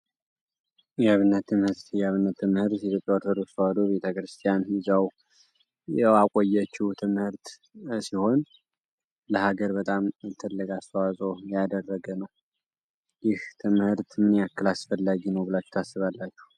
የአብነት ትምህት የአብነት ትምህርት የኢትዮፕያ ኦርቶዶክስ ቤተ ክርስቲያን ያቆየችው ትምህርት ሲሆን ለሀገር በጣም እንትልግ አስተዋዘዎ ያደረገ ነው ይህ ትምህርት ምን ያክል አስፈላጊ ነው ብላች ታስባላችሁ?